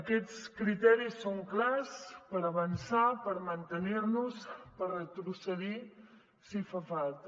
aquests criteris són clars per avançar per mantenir nos per retrocedir si fa falta